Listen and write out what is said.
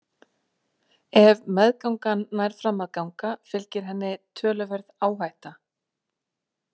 Ef meðgangan nær fram að ganga fylgir henni töluverð áhætta.